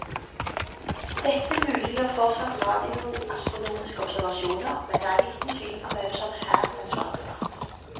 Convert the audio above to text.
Dette muliggjør fortsatt radioastronomiske observasjoner, men det er liten tvil om hvem som her den svake part.